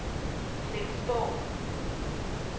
Flensborg